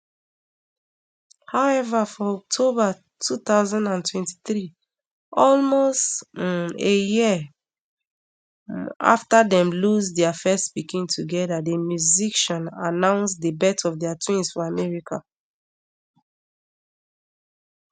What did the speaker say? however for october two thousand and twenty-three almost um a year um afta dem lose dia first pikin togeda di musician announce di birth of dia twins for america